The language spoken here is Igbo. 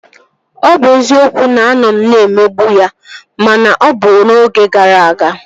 Ọ bụ eziokwu na a nọ m na-emegbu ya ma na ọ bụ n'oge gara aga